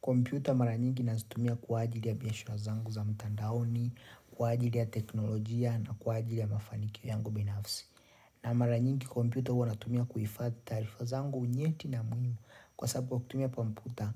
Kompyuta mara nyingi nazitumia kwa ajili ya biashara zangu za mtandaoni, kwa ajili ya teknolojia na kwa ajili ya mafanikio yangu binafsi. Na mara nyingi kompyuta huwa natumia kuifadhi taarifa zangu unyeti na muhimu kwa sababu kwa kutumia kompyuta,